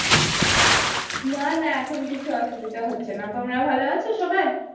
না না এখন কিছু অসুবিধা হচ্ছে না তোমরা ভালো আছো সবাই?